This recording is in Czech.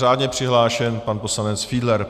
Řádně přihlášen pan poslanec Fiedler.